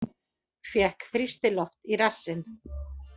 Fékk þrýstiloft í rassinn